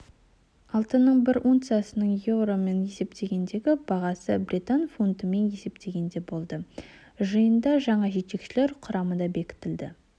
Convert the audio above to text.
алтынның бір унциясының еуромен есептегендегі бағасы британ фунтымен есептегенде болды жиында жаңа жетекшілер құрамы да бекітілді